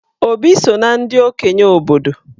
Obi so na ndị okenye obodo.